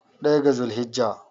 daya ga zulhajji